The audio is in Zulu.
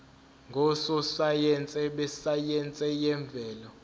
ngososayense besayense yemvelo